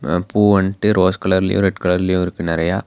பூ வந்ட்டு ரோஸ் கலர்லயு ரெட் கலர்லயு இருக்கு நெறையா.